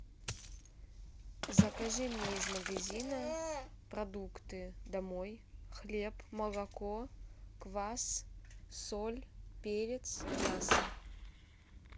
закажи мне из магазина продукты домой хлеб молоко квас соль перец мясо